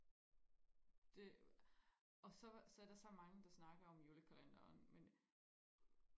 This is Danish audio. det og så er der så mange der snakker om julekalenderen men